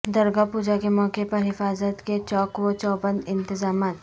درگا پوجا کے موقع پر حفاظت کے چاق وچوبندانتظامات